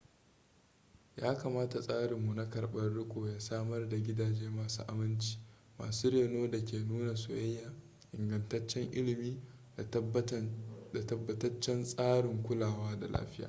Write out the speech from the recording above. ya kamata tsarinmu na karɓar riko ya samar da gidaje masu aminci masu reno da ke nuna soyayya ingantaccen ilimi da tabbataccen tsarin kulawa da lafiya